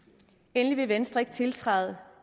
endelig vil venstre ikke tiltræde